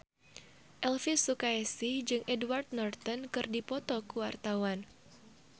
Elvy Sukaesih jeung Edward Norton keur dipoto ku wartawan